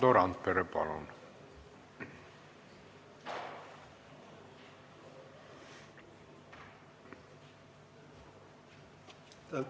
Valdo Randpere, palun!